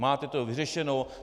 Máte to vyřešeno.